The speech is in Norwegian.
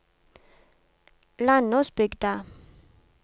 Landåsbygda